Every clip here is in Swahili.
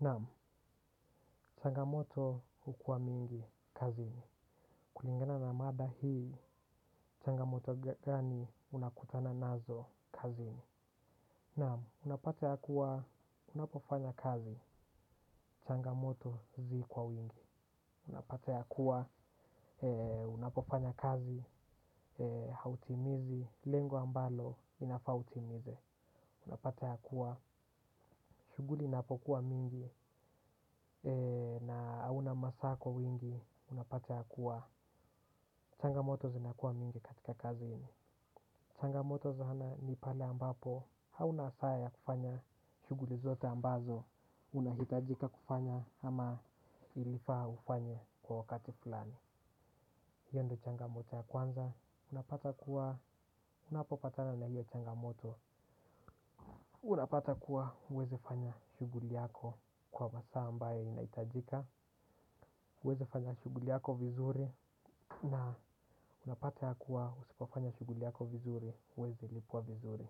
Naam, changamoto hukuwa mingi kazini. Kulingana na mada hii, changamoto gani unakutana nazo kazini? Naam, unapata kuwa unapofanya kazi changamoto zi kwa wingi. Unapata ya kuwa unapofanya kazi hautimizi lengo ambalo inafaa utimize. Unapata ya kuwa shughuli inapokuwa mingi na hauna masaa kwa wingi unapata ya kuwa changamoto zinakuwa mingi katika kaziini. Changamoto za ana ni pale ambapo hauna saa ya kufanya shughuli zote ambazo unahitajika kufanya ama ilifaa ufanye kwa wakati fulani. Hiyo ndo changamoto ya kwanza, unapata kuwa unapopatana na hiyo changamoto. Unapata kuwa huwezi fanya shughuli yako kwa masaa ambayo inahitajika, huwezi fanya shughuli yako vizuri na unapata ya kuwa usipofanya shughuli yako vizuri huwezi lipwa vizuri.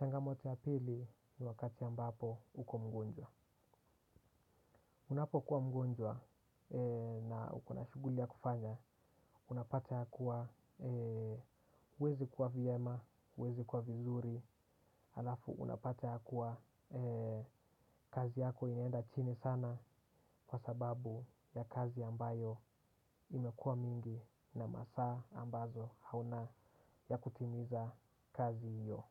Changamoto ya pili ni wakati ambapo uko mgonjwa. Unapokuwa mgonjwa na uko na shughuli ya kufanya. Unapata ya kuwa huwezi kuwa vyema, huwezi kuwa vizuri alafu unapata ya kuwa kazi yako inaenda chini sana kwa sababu ya kazi ambayo imekuwa mingi na masaa ambazo hauna ya kutimiza kazi hiyo.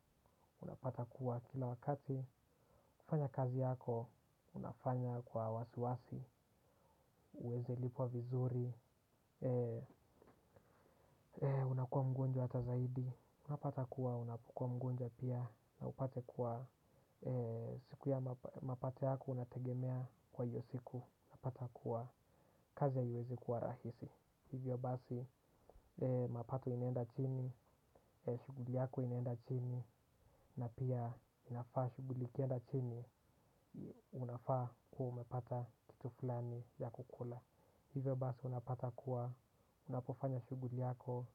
Unapata kuwa kila wakati kufanya kazi yako unafanya kwa wasi wasi, huwezi lipwa vizuri. Unakua mgonjwa hata zaidi. Unapata kuwa unapokuwa mgonjwa pia na upate kuwa siku ya mapato yako unategemea kwa hiyo siku unapata kuwa kazi haiwezi kuwa rahisi. Hivyo basi mapato inaenda chini, shughuli yako inaenda chini na pia inafaa shughuli ikienda chini unafaa kuwa umepata kitu fulani ya kukula. Hivyo basi unapata kuwa unapofanya shughuli yako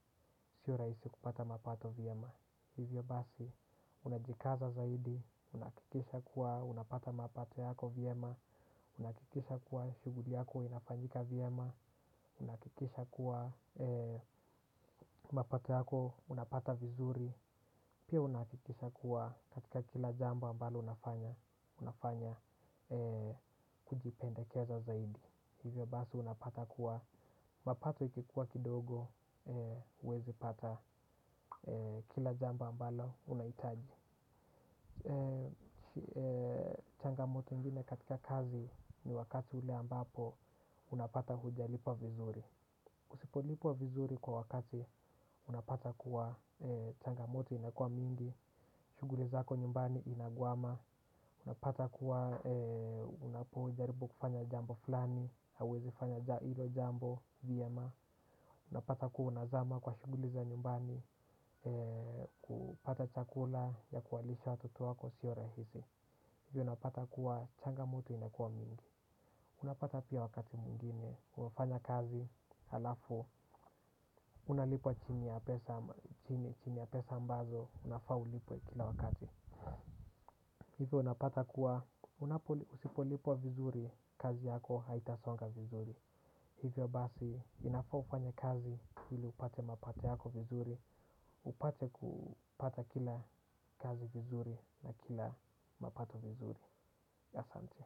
sio rahisi kupata mapato vyema. Hivyo basi unajikaza zaidi, unahakikisha kuwa unapata mapato yako vyema, unahakikisha kuwa shughuli yako inafanyika vyema, unahakikisha kuwa mapato yako unapata vizuri, pia unahakikisha kuwa katika kila jambo ambalo unafanya, unafanya kujipendekeza zaidi. Hivyo basi unapata kuwa mapato ikikuwa kidogo huwezi pata kila jambo ambalo unahitaji. Changamoto ingine katika kazi ni wakati ule ambapo unapata hujalipwa vizuri. Usipolipwa vizuri kwa wakati unapata kuwa changamoto inakuwa mingi, shughuli zako nyumbani inagwama unapata kuwa unapojaribu kufanya jambo fulani hauwezi fanya hilo jambo vyema unapata kuwa unazama kwa shughuli za nyumbani kupata chakula ya kuwalisha watoto wako siyo rahisi, hivyo unapata kuwa changamoto inakuwa mingi. Unapata pia wakati mwingine umefanya kazi halafu unalipwa chini ya pesa ambazo unafaa ulipwe kila wakati. Hivyo unapata kuwa usipolipwa vizuri, kazi yako haitasonga vizuri. Hivyo basi, inafaa ufanye kazi ili upate mapato yako vizuri, upate kupata kila kazi vizuri na kila mapato vizuri. Asante.